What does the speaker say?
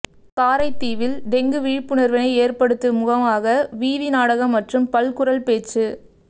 காரைதீவில் dengue விழிப்புணர்வினை ஏற்படுத்து முகமாக வீதி நாடகம் மற்றும் பல்குரல் பேச்சு